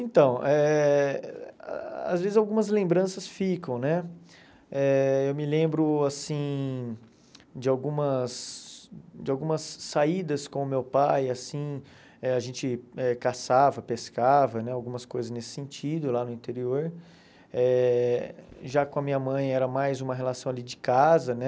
Então, eh às vezes algumas lembranças ficam, né, eh eu me lembro, assim, de algumas de algumas saídas com o meu pai, assim, eh a gente eh caçava, pescava, né, algumas coisas nesse sentido lá no interior, eh já com a minha mãe era mais uma relação ali de casa, né,